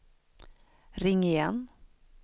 ring igen